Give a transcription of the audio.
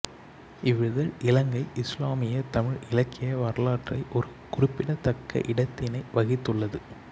இவ்விதழ் இலங்கை இசுலாமிய தமிழ் இலக்கிய வரலாற்றை ஒரு குறிப்பிடத்தக்க இடத்தினை வகித்துள்ளது